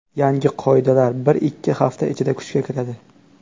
Yangi qoidalar bir-ikki hafta ichida kuchga kiradi.